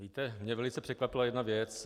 Víte, mě velice překvapila jedna věc.